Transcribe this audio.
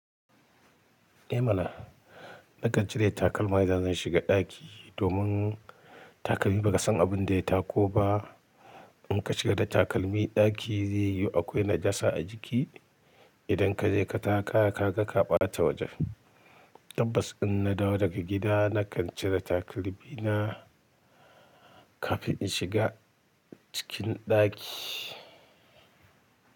Eh mana, nakan cire takalma idan zan shiga ɗaki domin takalmi ba ka san abin da ya tako ba. In ka shiga da takalmi ɗaki zai yuyu akwai najasa a jiki. Idan ka je ka taka kaga ka ɓata wajen. Tabbas in na dawo daga gida nakan cire takalmi na kafin in shiga cikin ɗaki.